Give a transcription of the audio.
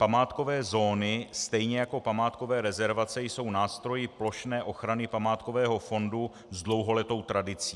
Památkové zóny stejně jako památkové rezervace jsou nástroji plošné ochrany památkového fondu s dlouholetou tradicí.